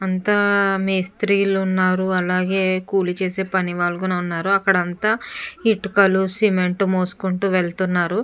అంతా మేస్త్రీలు ఉన్నారు అలాగే కూలి చేసే పనివాళ్ళు కూడా ఉన్నారు అక్కడ అంతా ఇటుకలు సిమెంట్ మోసుకుంటూ వెళ్తున్నారు.